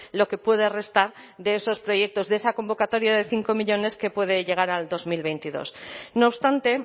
lo que puede restar de esos proyectos de esa convocatoria de cinco millónes que puede llegar al dos mil veintidós no obstante